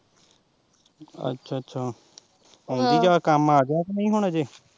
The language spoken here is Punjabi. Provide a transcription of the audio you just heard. ਅੱਛਾ ਅੱਛਾ ਆਉਂਦੀ ਆ ਜਾਂ ਕੰਮ ਆ ਗਿਆ ਕਿ ਨੀ ਹੁਣ ਅਜੇ।